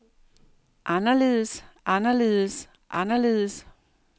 anderledes anderledes anderledes